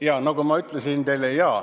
Jaa, nagu ma ütlesin teile ...